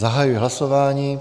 Zahajuji hlasování.